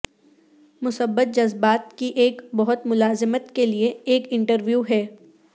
مثبت جذبات کی ایک بہت ملازمت کے لئے ایک انٹرویو ہے